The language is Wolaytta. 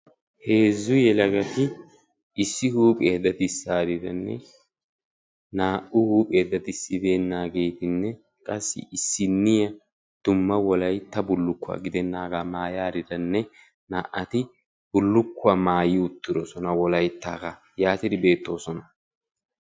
issi huuphiyaa daddissariiranne naa''u huuphiyaa daddissa beenariira qassi issiniyaa dumma Wolaytta bullukuwaa giddenaaaga maayariranne naa''ati bullukuwaa maayi uttidoosona wolayttaaga yaattidi beettoosona.